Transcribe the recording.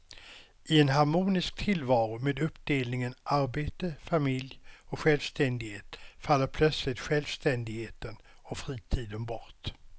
I en harmonisk tillvaro med uppdelningen arbete, familj och självständighet faller plötsligt självständigheten och fritiden bort.